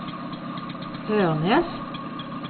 Ørnes